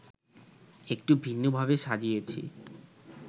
একটু ভিন্নভাবে সাজিয়েছি